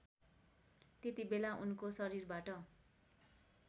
त्यतिबेला उनको शरीरबाट